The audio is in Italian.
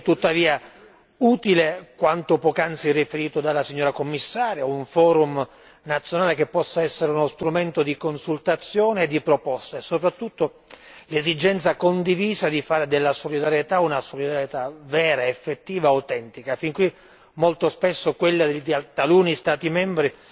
È tuttavia utile quanto poco prima riferito dal Commissario un forum nazionale che possa essere uno strumento di consultazione e di proposte e, soprattutto, l'esigenza condivisa di fare della solidarietà una solidarietà vera, effettiva, autentica fin qui, molto spesso, quella di taluni Stati membri